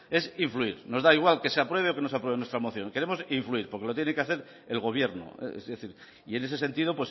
es influir nos da igual que se apruebe o que no se apruebe nuestra moción queremos influir porque lo tiene que hacer el gobierno es decir y en ese sentido